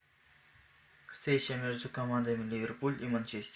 встреча между командами ливерпуль и манчестер